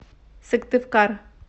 сыктывкар